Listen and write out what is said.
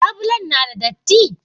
Labulen na da datti?